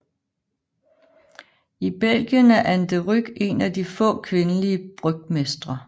I Belgien er An de Ryck en af de få kvindelige brygmestre